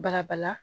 Barabala